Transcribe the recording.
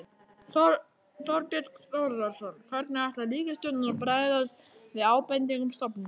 Þorbjörn Þórðarson: Hvernig ætlar ríkisstjórnin að bregðast við ábendingum stofnunarinnar?